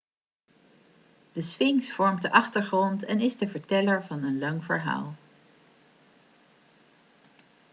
de sfinx vormt de achtergrond en is de verteller van een lang verhaal